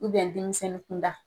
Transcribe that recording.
denmisɛnwni kun da: